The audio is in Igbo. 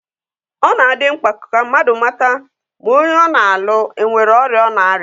Ọ na-adị mkpa ka mmadụ mata ma onye ọ na-alụ enwere ọrịa ọ na-arịa